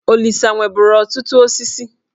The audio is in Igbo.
Olisa nweburu ọtụtụ osisi.